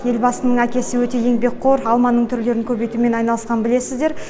елбасының әкесі өте еңбекқор алманың түрлерін көбейтумен айналысқанын білесіздер